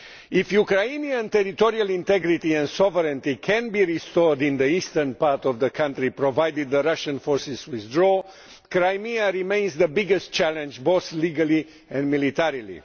If Ukrainian territorial integrity and sovereignty can be restored in the eastern part of the country, provided the Russian forces withdraw, Crimea remains the biggest challenge, both legally and militarily.